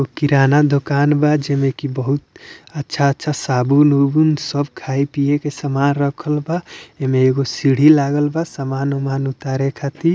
एगो किराना दुकान बा जेमे की बहुत अच्छा अच्छा साबुन-उबुन सब खाए पिए के समान रखल बा एमे एगो सीढ़ी लागल बा समान ओमान उतारे खातीर।